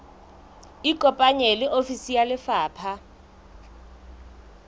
ikopanye le ofisi ya lefapha